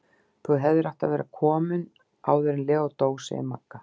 Þú hefðir átt að vera komin áður en Leó dó, segir Magga.